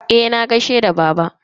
Eh, na gaishe da baba.